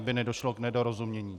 Aby nedošlo k nedorozumění.